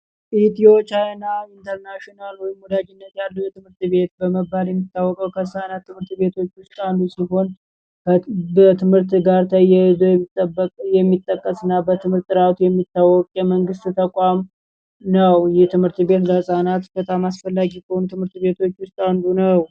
ኢትዮ ቻናል የኢንተርናሽናል ትምህርት ቤት በመባል የሚታወቀው ከፃናት ትምህርት ቤቶች ውስጥ አንዱ ሲሆን ከትምህርት ጋር የሚጠቀስና በትምህርት ጥራት የሚታወቀ የመንግስት ተቋም ነው የትምህርት ቤት በመንግስት ተቋም አስፈላጊ ከሆኑ ትምህርት ቤቶች ውስጥ አንዱ ነው።